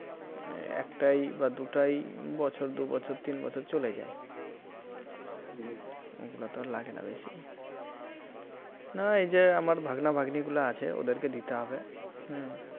একটাই বা দুটাই বছর দু বছর তিন বছর চলে যায় ওগুলা তো আর লাগেনা বেশি না এই যে আমার ভাগ্না ভাগ্নী গুলা আছে ওদেরকে দিতে হবে